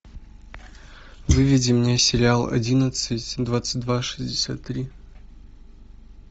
выведи мне сериал одиннадцать двадцать два шестьдесят три